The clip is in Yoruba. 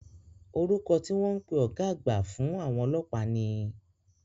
Orúkọ tí wọ́n ń pè ọ̀gá àgbà fún àwọn ọlọ́pàá ni?